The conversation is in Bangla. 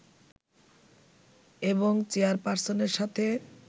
এবং চেয়ারপার্সনের সাথে